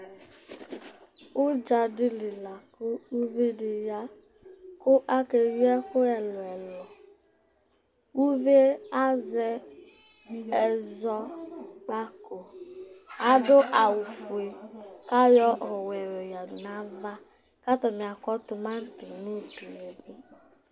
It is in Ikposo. ũdzadili la kũ uvidi ya kũ akeyi ɛkũ ɛluẽlũ kuvié azɛ ɛzɔkpako adũ awũ fʊé kayɔ ɔwʊɛ yadũ nava katanï kɔ tũmatï nũdũe